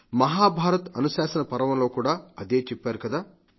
మహాభారత్ అనుశాసన పర్వంలో కూడా అదే చెప్పారు కదా